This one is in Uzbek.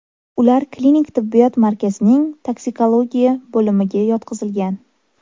Ular klinik tibbiyot markazining toksikologiya bo‘limiga yotqizilgan.